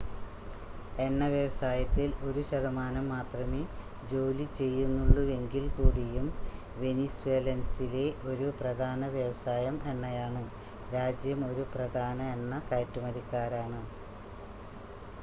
എണ്ണ വ്യവസായത്തിൽ ഒരു ശതമാനം മാത്രമേ ജോലി ചെയ്യുന്നുള്ളൂവെങ്കിൽ കൂടിയും വെനിസ്വേലൻസിലെ ഒരു പ്രധാന വ്യവസായം എണ്ണയാണ് രാജ്യം ഒരു പ്രധാന എണ്ണ കയറ്റുമതിക്കാരാണ്